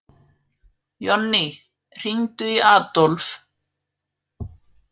Jonný, hringdu í Adólf.